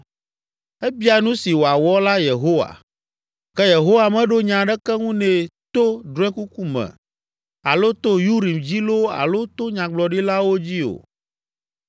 Ebia nu si wòawɔ la Yehowa, ke Yehowa meɖo nya aɖeke ŋu nɛ to drɔ̃ekuku me, alo to Urim dzi loo alo to nyagblɔɖilawo dzi o.